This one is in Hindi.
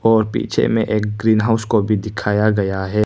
और पीछे में एक ग्रीन हाउस को भी दिखाया गया है।